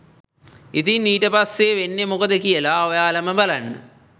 ඉතින් ඊට පස්සෙ වෙන්නෙ මොකද කියල ඔයාලම බලන්න